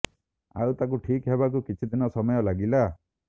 ଆଉ ତାକୁ ଠିକ୍ ହେବାକୁ କିଛି ଦିନ ସମୟ ଲାଗିଲା